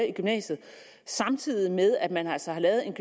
i gymnasiet samtidig med at man altså har lavet en